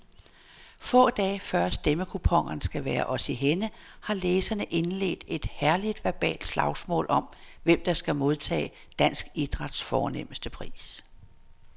Få dage før stemmekuponerne skal være os i hænde har læserne indledt et herligt verbalt slagsmål om, hvem der skal modtage dansk idræts fornemste pris.